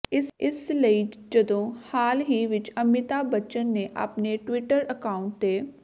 ਇਸ ਲਈ ਜਦੋਂ ਹਾਲ ਹੀ ਵਿਚ ਅਮਿਤਾਭ ਬੱਚਨ ਨੇ ਆਪਣੇ ਟਵਿੱਟਰ ਅਕਾਂਊਟ ਤੇ